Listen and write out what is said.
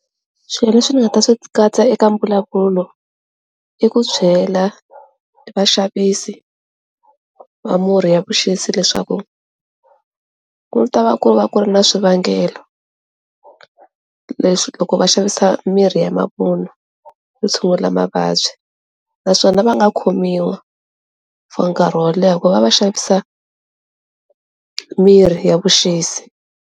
Swilo leswi nga ta swi katsa eka mbulavulo i ku chela vaxavisi va murhi ya vuxisi leswaku ku ni ta va ku ri va ku ri na swivangelo leswi loko va xavisa mirhi ya mavun'wa vo tshungula mavabyi naswona va nga khomiwa for nkarhi wo leha ku va va xavisa mirhi ya vuxisi.